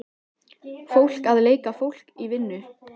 Fólk að leika fólk í vinnu.